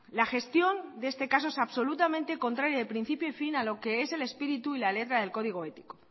la gestión de este caso es absolutamente contraria de principio y fin a lo que es el espíritu y la letra del código ético